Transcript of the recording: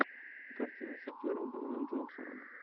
картина с актером дуэйном джонсоном